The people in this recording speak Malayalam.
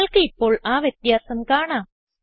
നിങ്ങൾക്ക് ഇപ്പോൾ ആ വ്യത്യാസം കാണാം